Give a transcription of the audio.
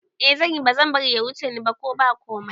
Eh zanyi, bazan bari ya wuce ni ba ko ba komai